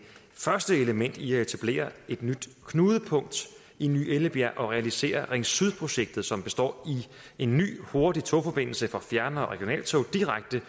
første element i at etablere et nyt knudepunkt i ny ellebjerg og realisere ring syd projektet som består af en ny hurtig togforbindelse for fjern og regionaltog direkte